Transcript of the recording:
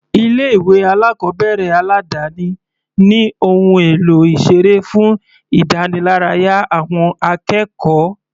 Ilé ìwé alákọ̀ọ́bẹ̀rẹ̀ aládáni ní ohun èlò ìseré fún ìdániláráyá àwọn akẹ́kọ̀ọ́.